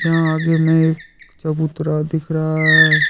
यहां आगे में एक चबूतरा दिख रहा है।